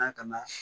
Na kana